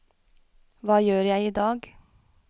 hva gjør jeg idag